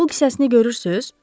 Pul kisəsini görürsüz?